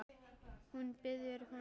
Hún býður honum inn.